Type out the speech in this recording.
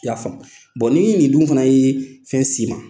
I y'a faamu ni nin dun fana ye fɛn s'i ma.